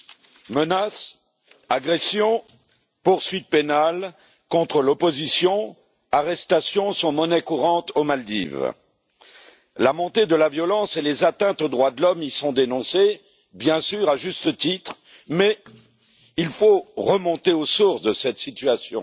Madame la Présidente, menaces, agressions, poursuites pénales contre l'opposition et arrestations sont monnaie courante aux Maldives. La montée de la violence et les atteintes aux droits de l'homme y sont dénoncées bien sûr à juste titre, mais il faut remonter aux sources de cette situation,